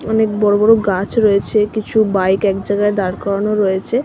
অনেক বড়ো বড়ো গাছ রয়েছে কিছু বাইক